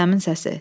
Rüstəmin səsi.